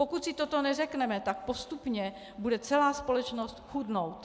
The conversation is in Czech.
Pokud si toto neřekneme, tak postupně bude celá společnost chudnout.